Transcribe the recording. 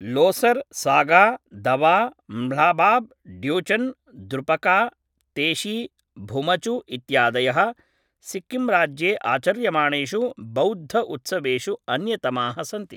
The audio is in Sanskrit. लोसर सागा दवा ल्हाबाब् ड्यूचेन् द्रुपका तेशी भुमचु इत्यादयः सिक्किम् राज्ये आचर्यमाणेषु बौद्ध उत्सवेषु अन्यतमाः सन्ति